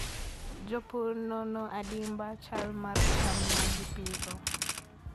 Jopur nono adimba chal mar cham ma gipidho.